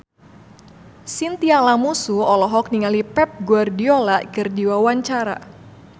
Chintya Lamusu olohok ningali Pep Guardiola keur diwawancara